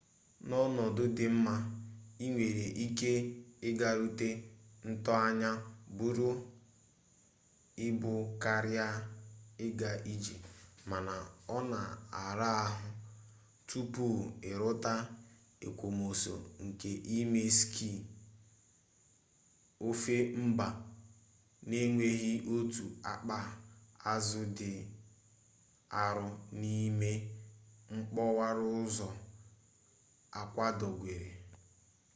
n'ọnọdụ dị mma i nwere ike ịgarute ntoanya buru ibu karịa ịga ije mana ọ na-ara ahụ tupu i rute ekwomọsọ nke ime skii ofe mba n'enweghị otu akpa azụ dị arụ n'ime mkpọwaraụzọ akwadogwere